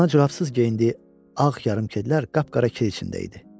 Ayağına corabsız geyindiyi ağ yarımkedlər qapqara kir içində idi.